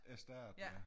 Æ stat ja